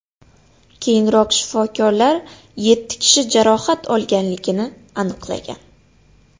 Keyinroq shifokorlar yetti kishi jarohat olganligini aniqlagan.